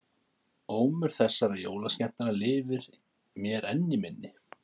Ómur þessara jólaskemmtana lifir mér enn í minni.